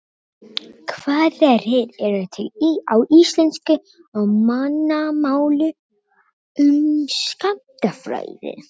Hvaða rit eru til á íslensku, á mannamáli, um skammtafræði?